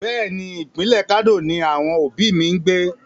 Bẹ́ẹ̀ni, ìpínlẹ̀ Kano ni àwọn òbí mi ń gbé.